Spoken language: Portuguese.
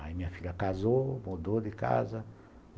Aí a minha filha casou, mudou de casa.